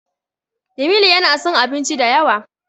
Jamilu yana son abinci da yawa.